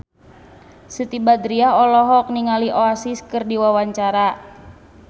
Siti Badriah olohok ningali Oasis keur diwawancara